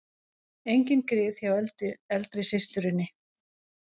Engin grið hjá eldri systurinni